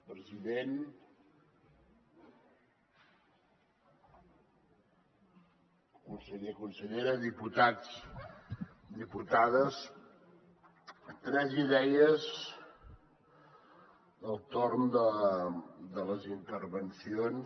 president conseller consellera diputats diputades tres idees del torn de les intervencions